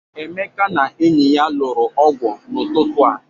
Emeka na enyi ya lụrụ ọgwụ n'ụtụtụ a.